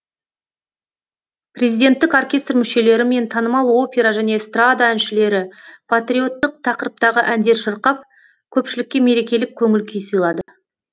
президенттік оркестр мүшелері мен танымал опера және эстрада әншілері патриоттық тақырыптағы әндер шырқап көпшілікке мерекелік көңіл күй сыйлады